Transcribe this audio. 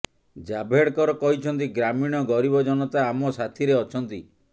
ଜାଭେଡକର କହିଛନ୍ତି ଗ୍ରାମୀଣ ଗରିବ ଜନତା ଆମ ସାଥୀରେ ଅଛନ୍ତି